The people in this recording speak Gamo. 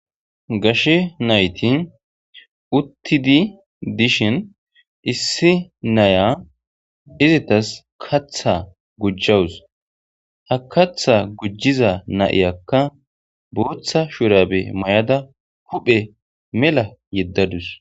gashe nayti uttidi dishin issi naya izitas katha gujjawus ha katha gujjiza na7iyakka booththa shurabe mayada huphe mela yeddadus